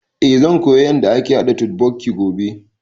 Eh zan koya yanda ake haɗa totbokki gobe